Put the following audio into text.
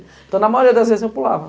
Então na maioria das vezes eu pulava.